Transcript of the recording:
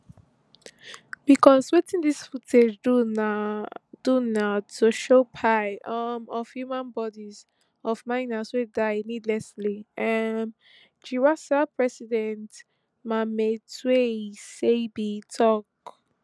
becos wetin dis footage do na do na to show pile um of human bodies of miners wey die needlessly um giwusa president mametlwe sebei tok